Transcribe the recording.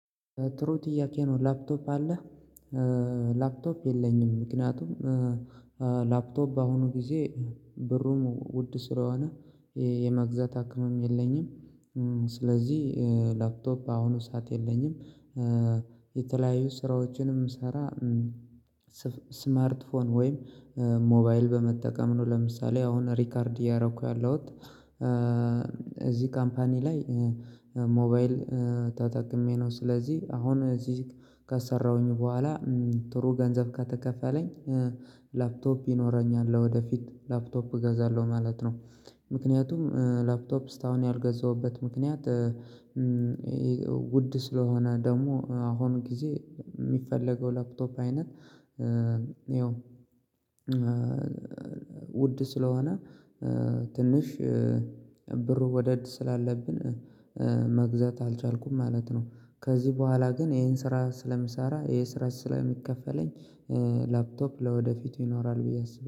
ጥሩ ጥያቄ ነው ላፕቶፕ አለህ? ላፕቶፕ የለኝም። ምክንያቱም ላፕቶፕ በአሁኑ ጊዜ ብሩም ውድ ስለሆነ የመግዛት አቅምም የለኝም። ስለዚህ ላፕቶፕ በአሁኑ ሰዓት የለኝም። የተለያዩ ስራዎችንም ስሰራ ስማርት ስልክ ወይም ሞባይል በመጠቀም ነው። ለምሳሌ አሁን ሪከርድ እያረኩ ያለሁት። እዚህ ካምፓኒ ላይ ሞባይል ተጠቅሜ ነው። ስለዚህ አሁን እዚህ ከሰራሁኝ በኋላ ጥሩ ገንዘብ ከተከፈለኝ ላፕቶፕ ይኖረኛል። ወደፊት ላፕቶፕ እገዛለሁ ማለት ነው። ምክንያቱም ላፕቶፕ ስታውን ያልገዛሁበት ምክንያት። ውድ ስለሆነ ደግሞ አሁን ጊዜ የሚፈለገው ላፕቶፕ አይነት ይኸው ውድ ስለሆነ ትንሽ ብሩ ወደድ ስላለብን መግዛት አልቻልኩም ማለት ነው። ከዚህ በኋላ ግን ይሄን ስራ ስለምሰራ ይሄ ስራ ስለሚከፈለኝ ላፕቶፕ ለወደፊት ይኖራል ብዬ አስባለሁ